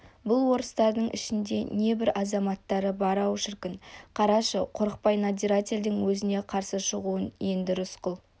бұл орыстардың ішінде де небір азаматтары бар-ау шіркін қарашы қорықпай надзирательдің өзіне қарсы шығуын енді рысқұл